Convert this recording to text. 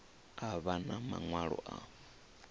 a vha na maṅwalo a